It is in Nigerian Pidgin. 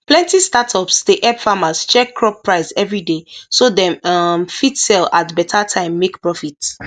plenty startups dey help farmers check crop price everyday so dem um fit sell at better time make profit